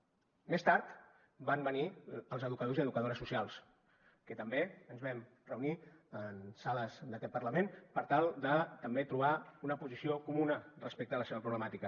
més tard van venir els educadors i educadores socials que també ens vam reunir en sales d’aquest parlament per tal de també trobar una posició comuna respecte a la seva problemàtica